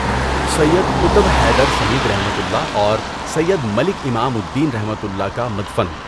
سید قطب حیدر شہیدؒ اور سید مَلِک امام الدینؒ کا مدفن